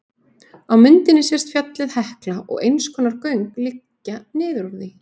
Á myndinni sést fjallið Hekla og eins konar göng liggja niður úr því.